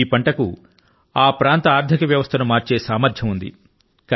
ఈ పంట కు ఆ ప్రాంత ఆర్ధిక వ్యవస్థ ను మార్చే సామర్థ్యం ఉంది